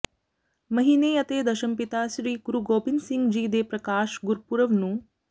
ਮਹੀਨੇ ਅਤੇ ਦਸ਼ਮ ਪਿਤਾ ਸ੍ਰੀ ਗੁਰੁ ਗੋਬਿੰਦ ਸਿੰਘ ਜੀ ਦੇ ਪ੍ਰਕਾਸ਼ ਗੁਰਪੁਰਬ ਨੂੰ